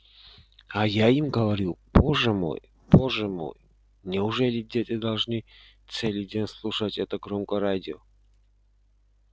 а я им говорю боже мой боже мой неужели дети должны целый день слушать это громкое радио